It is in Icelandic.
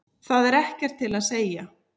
Það er ekkert til að segja.